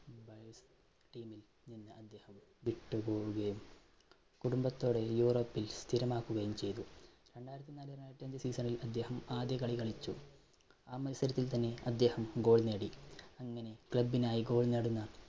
വിട്ട് പോകുകയും കുടുംബത്തോടെ യൂറോപ്പിൽ സ്ഥിരമാക്കുകയും ചെയ്തു. രണ്ടായിരത്തിനാല് രണ്ടായിരത്തിഅഞ്ച് season ൽ അദ്ദേഹം ആദ്യ കളി കളിച്ചു. ആ മത്സരത്തിൽ തന്നെ അദ്ദേഹം ഗോൾ നേടി അങ്ങനെ club നായി goal നേടുന്ന